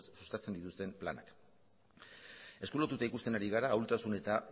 sustatzen dituzten planak esku lotuta ikusten ari gara ahultasun eta